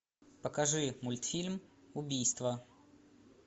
покажи мультфильм убийство